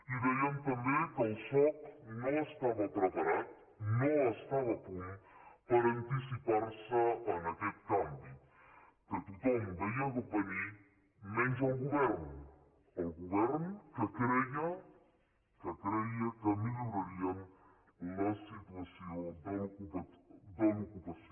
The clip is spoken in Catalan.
i dèiem també que el soc no estava preparat no estava a punt per anticipar·se a aquest canvi que tothom veia venir menys el govern el govern que creia que milloraria la situació de l’ocu·pació